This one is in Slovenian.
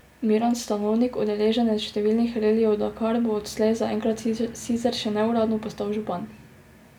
Miran Stanovnik, udeleženec številnih relijev Dakar, bo odslej zaenkrat sicer še neuradno, postal župan.